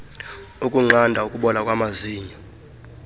ukunqanda ukubola kwamazinyo